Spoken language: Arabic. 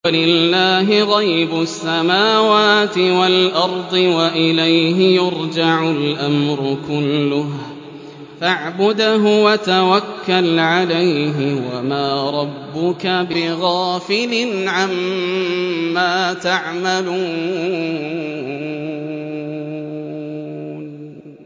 وَلِلَّهِ غَيْبُ السَّمَاوَاتِ وَالْأَرْضِ وَإِلَيْهِ يُرْجَعُ الْأَمْرُ كُلُّهُ فَاعْبُدْهُ وَتَوَكَّلْ عَلَيْهِ ۚ وَمَا رَبُّكَ بِغَافِلٍ عَمَّا تَعْمَلُونَ